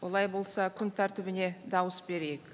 олай болса күн тәртібіне дауыс берейік